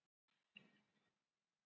Konur vilja góða dansara